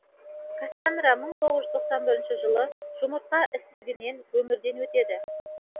кассанра мың тоғыз жүз тоқсан бірінші жылы жұмыртқа ісігінен өмірден өтеді